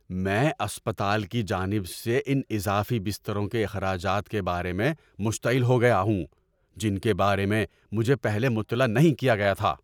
‏میں اسپتال کی جانب سے ان اضافی بستروں کے اخراجات کے بارے میں مشتعل ہو گیا ہوں جن کے بارے میں مجھے پہلے مطلع نہیں کیا گیا تھا۔